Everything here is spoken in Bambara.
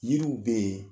Yiriw bɛ yen